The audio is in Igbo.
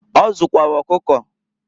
Ọ zụkwara ọkụkọ.